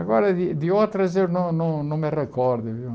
Agora, de de outras eu não não não me recordo, viu?